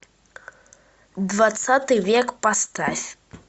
двадцатый век поставь